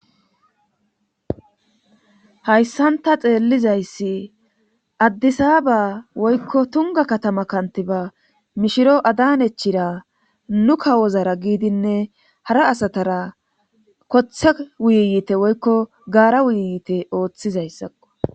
Hayssanta xeellizayssi addisaaba woykko tunga katama kantiba mishiro adan echira nu kawozara giidinne hara asatara kothe wuyiyite woykko gaara wuyiyiite ooththizayssakqo